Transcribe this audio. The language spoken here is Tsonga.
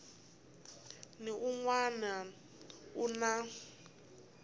ni un wana u na